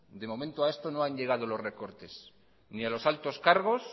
de momento a estos no han llegado los recortes ni a los altos cargos